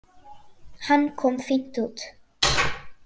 Hann kom fínt út.